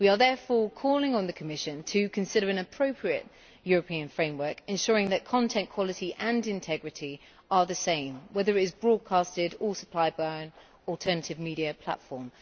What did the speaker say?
We are therefore calling on the Commission to consider an appropriate European framework ensuring that content quality and integrity are the same, whether it is broadcast or supplied by an alternative media platform.